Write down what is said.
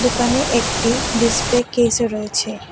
দোকানে একটি ডিসপ্লে কেসও রয়েছে।